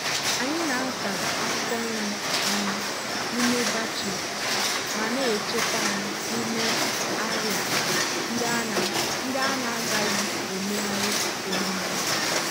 anyị na-asa akwụkwọ nri anwụ n'ime batches ma na-echekwa ha n'ime arịa ndị a na-agaghị emegharị emegharị.